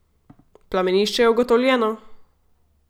Plamenišče je ugotovljeno!